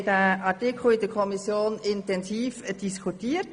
Wir haben den Artikel in der Kommission intensiv diskutiert.